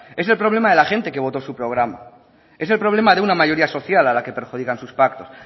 es el problema de la gente que votó su programa es el problema de una mayoría social a la que perjudican sus pactos